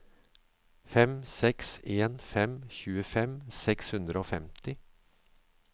fem seks en fem tjuefem seks hundre og femti